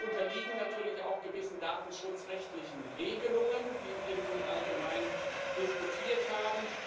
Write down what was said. Wir unterliegen natürlich auch gewissen datenschutzrechtlichen Regelungen, die wir nun allgemein diskutiert haben.